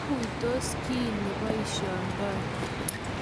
maguisoti kiit ne boisiondoi